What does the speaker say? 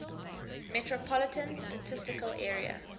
metropolitan statistical area